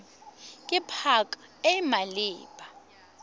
ke pac e e maleba